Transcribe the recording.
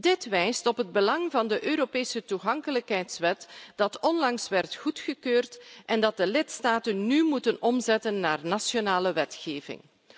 Dit wijst op het belang van de Europese toegankelijkheidswet die onlangs werd goedgekeurd en die de lidstaten nu moeten omzetten naar nationale wetgeving.